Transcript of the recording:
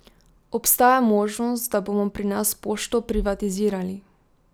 Obstaja možnost, da bomo pri nas Pošto privatizirali?